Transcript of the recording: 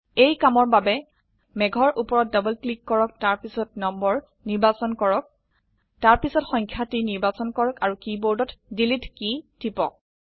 এই কামৰ বাবে মেঘৰ উপৰত ডবল ক্লিক কৰক তাৰপিছত নম্বৰ নিৰ্বাচন কৰক তাৰপিছত সংখ্যাটি নিৰ্বাচন কৰক আৰু কীবোৰ্ডত ডিলিট কী টিপক